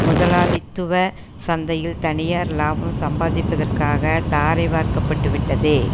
முதலாளித்துவ சந்தையில் தனியார் இலாபம் சம்பாதிப்பதற்காக தாரை வார்க்க பட்டு விட்டது